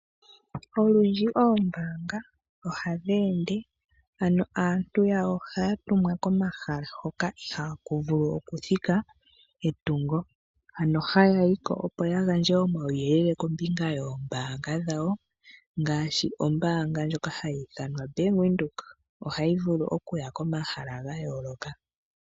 Olundji oombaanga ohadhi ende, ano aantu yawo ohaya tumwa komahala hoka ihaa ku vulu oku thika etungo. Ano haya yi ko opo ya gandje omauyelele kombinga yoombaanga dhawo, ngaashi ombaanga ndjoka hayi ithanwa oBank Windhoek ohayi vulu oku ya komahala ga yooloka.